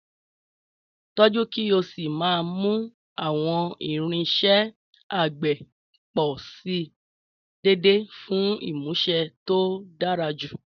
Tọ́jú kí o sì máa mú àwọn irinṣẹ́ àgbẹ̀ pọ̀ sí i déédéé fún ìmúṣe tó dára jù.